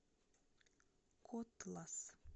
котлас